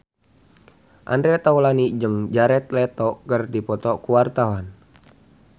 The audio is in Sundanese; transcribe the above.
Andre Taulany jeung Jared Leto keur dipoto ku wartawan